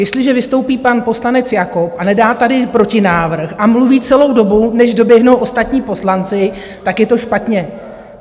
Jestliže vystoupí pan poslanec Jakob a nedá tady protinávrh a mluví celou dobu, než doběhnou ostatní poslanci, tak je to špatně.